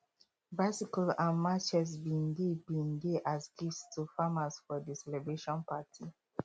bicycles and machetes bin dey bin dey as gifts to farmers for di celebration party